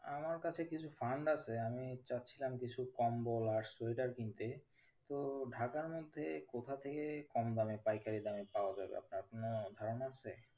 আমার কাছে কিছু fund আছে আমি চাইছিলাম কিছু কম্বল আর সোয়েটার কিনতে তো ঢাকার মধ্যে কোথা থেকে কমদামে পাইকারি দামে পাওয়া যাবে আপনার কোনো ধারণা আছে?